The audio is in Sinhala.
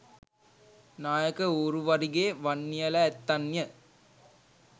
නායක ඌරුවරිගේ වන්නියලැ ඇත්තන්ය.